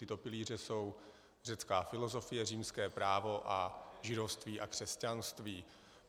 Tyto pilíře jsou řecká filozofie, římské právo a židovství a křesťanství.